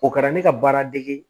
O kɛra ne ka baara degi